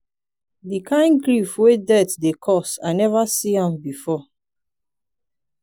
di kain grief wey death dey cause i neva see am before.